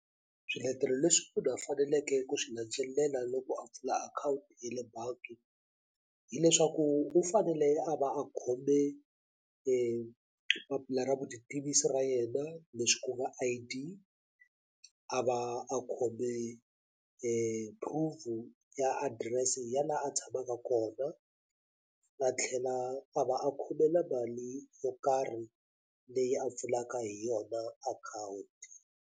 Swiletelo leswi munhu a faneleke ku swi landzelela loko a pfula akhawunti ye le bangi hileswaku u fanele a va a khome papila ra vutitivisi ra yena leswi ku nga I_D a va a khome prove ya adirese ya la a tshamaka kona a tlhela a va a khome na mali yo karhi leyi a pfulaka hi yona akhawunti.